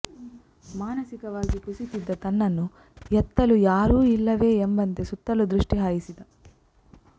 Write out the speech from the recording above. ಮಾನಸಿಕವಾಗಿ ಕುಸಿಯುತ್ತಿದ್ದ ತನ್ನನ್ನು ಎತ್ತಲು ಯಾರೂ ಇಲ್ಲವೇ ಎಂಬಂತೆ ಸುತ್ತಲೂ ದೃಷ್ಟಿ ಹಾಯಿಸಿದ